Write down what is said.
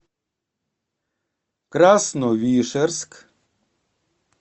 красновишерск